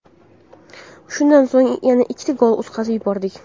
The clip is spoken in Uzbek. Shundan so‘ng yana ikkita gol o‘tkazib yubordik.